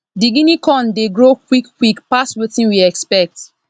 the guinea corn dey grow quick quick pass wetin we expect